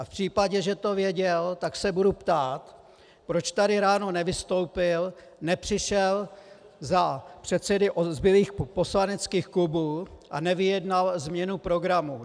A v případě, že to věděl, tak se budu ptát, proč tady ráno nevystoupil, nepřišel za předsedy zbylých poslaneckých klubů a nevyjednal změnu programu.